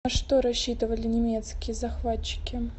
на что рассчитывали немецкие захватчики